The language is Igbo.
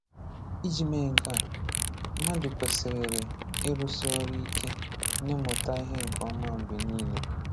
Iji mee nke a, mmadu kwesịrịrị ịrụsi ọrụ ike na ịmụta ihe nke oma mgbe niile.